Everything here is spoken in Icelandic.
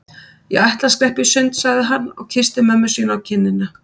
Ég ætla að skreppa í sund sagði hann og kyssti mömmu sína á kinnina.